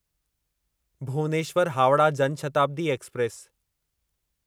Bhubaneswar Howrah Jan Shatabdi express